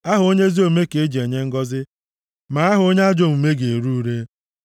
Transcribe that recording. Aha onye ezi omume ka eji enye ngọzị, ma aha onye ajọ omume ga-ere ure.